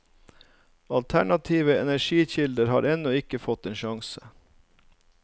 Alternative energikilder har ennå ikke fått en sjanse.